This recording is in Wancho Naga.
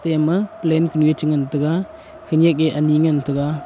eya ma plane kunue chengan taiga khenyak e ani ngan taiga.